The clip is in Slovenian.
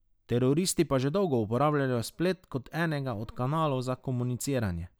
Teroristi pa že dolgo uporabljajo splet kot enega od kanalov za komuniciranje.